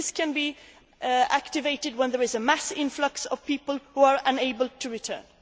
mechanism. This can be activated when there is a mass influx of people who are unable